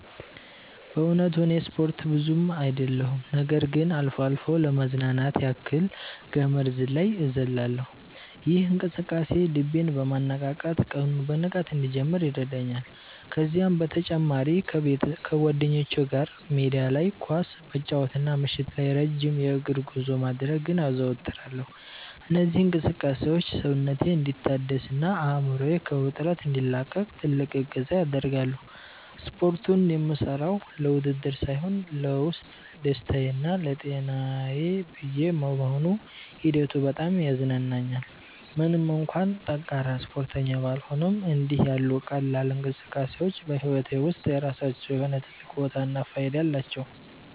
በእውነቱ እኔ ስፖርት ብዙ አይደለሁም ነገር ግን አልፎ አልፎ ለመዝናናት ያክል ገመድ ዝላይ እዘልላለሁ። ይህ እንቅስቃሴ ልቤን በማነቃቃት ቀኑን በንቃት እንድጀምር ይረዳኛል። ከዚህም በተጨማሪ ከጓደኞቼ ጋር ሜዳ ላይ ኳስ መጫወትና ምሽት ላይ ረጅም የእግር ጉዞ ማድረግን አዘወትራለሁ። እነዚህ እንቅስቃሴዎች ሰውነቴ እንዲታደስና አእምሮዬ ከውጥረት እንዲላቀቅ ትልቅ እገዛ ያደርጋሉ። ስፖርቱን የምሠራው ለውድድር ሳይሆን ለውስጥ ደስታዬና ለጤናዬ ብዬ በመሆኑ ሂደቱ በጣም ያዝናናኛል። ምንም እንኳን ጠንካራ ስፖርተኛ ባልሆንም፣ እንዲህ ያሉ ቀላል እንቅስቃሴዎች በሕይወቴ ውስጥ የራሳቸው የሆነ ትልቅ ቦታና ፋይዳ አላቸው።